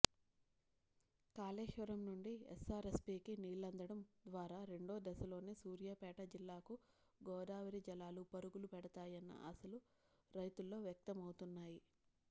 కాళేశ్వరం నుండి ఎస్సారెస్పీకి నీళ్లందడం ద్వారా రెండోదశలోని సూర్యాపేట జిల్లాకు గోదావరి జలాలు పరుగులు పెడతాయన్న ఆశలు రైతుల్లో వ్యక్తమవుతున్నాయి